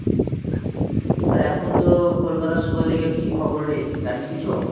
আর এখন তোর kolkata super league এর কি খবর রে জানিস কিছু?